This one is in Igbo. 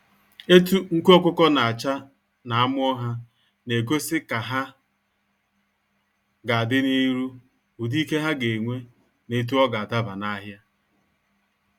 Etu nku ọkụkọ na acha na amụọ ha, na egosi ka ha ga adị n'iru, ụdị ike ha ga enwe na etu ọga adaba n'ahia.